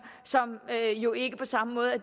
som jo ikke på samme måde er